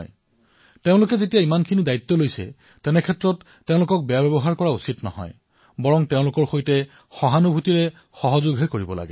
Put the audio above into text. সেইবাবে মানুহে যেতিয়া নিজে দায়িত্ব প্ৰদৰ্শন কৰিছে তেনেস্থলত তেওঁলোকৰ সৈতে দুৰ্ব্যৱহাৰ কৰাটো ঠিক নহয় তেওঁলোকক সহানুভূতিৰে সহযোগ কৰিব লাগে